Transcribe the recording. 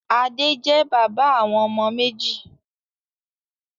Adé jẹ́ bàbá àwọn ọmọ méjì.